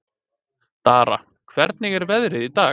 Dara, hvernig er veðrið í dag?